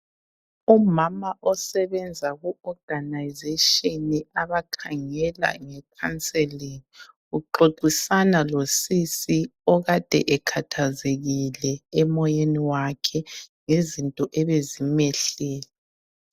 Umama osebenza ku oganayizeshini abakhangela ngekhanselingi uxoxisana losisi okade ekhathazekile emoyeni wakhe ngezinto ebezimehlele.